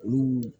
Olu